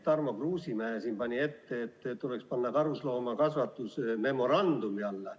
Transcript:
Tarmo Kruusimäe pani ette, et tuleks panna karusloomakasvatus memorandumi alla.